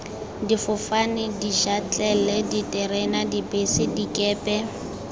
difofane dišatlelle diterena dibese dikepe